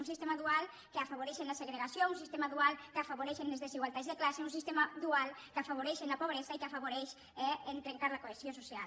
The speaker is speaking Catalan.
un sistema dual que afavoreix la segregació un sistema dual que afavoreix les desigualtats de classe un sistema dual que afavoreix la pobresa i que afavoreix trencar la cohesió social